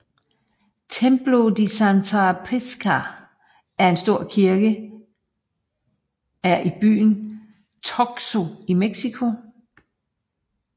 Templo de Santa Prisca er en stor kirke er i byen Taxco i Mexico